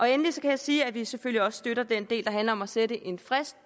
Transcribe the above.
endelig kan jeg sige at vi selvfølgelig også støtter den del der handler om at sætte en frist